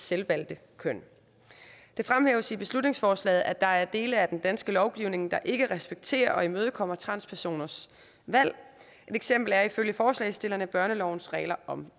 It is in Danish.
selvvalgte køn det fremhæves i beslutningsforslaget at der er dele af den danske lovgivning der ikke respekterer og imødekommer transpersoners valg et eksempel er ifølge forslagsstillerne børnelovens regler om